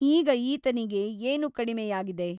ಈಗ ಈತನಿಗೆ ಏನು ಕಡಿಮೆಯಗಿದೆ ?